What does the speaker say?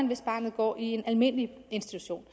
hvis barnet går i en almindelig institution